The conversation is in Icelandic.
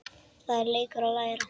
Það er leikur að læra